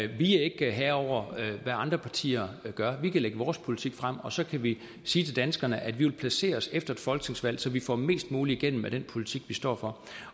vi er ikke herre over hvad andre partier gør vi kan lægge vores politik frem og så kan vi sige til danskerne at vi vil placere os efter et folketingsvalg så vi får mest muligt igennem af den politik vi står for